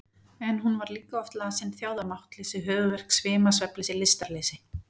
En hún var líka oft lasin, þjáð af máttleysi, höfuðverk, svima, svefnleysi, lystarleysi.